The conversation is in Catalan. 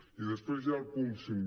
i després hi ha el punt cinc